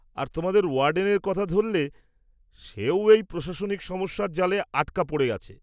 আর তোমাদের ওয়ার্ডেনের কথা ধরলে, সেও এই প্রশাসনিক সমস্যার জালে আটকা পড়ে আছে।